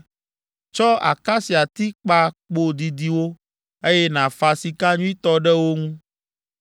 Tsɔ akasiati kpa kpo didiwo, eye nàfa sika nyuitɔ ɖe wo ŋu.